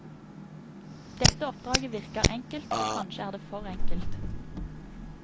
Dette oppdraget virker enkelt, og kanskje er det for enkelt.